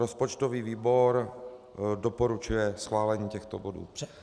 Rozpočtový výbor doporučuje schválení těchto bodů.